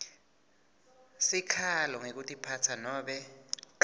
sikhalo ngekutiphatsa nobe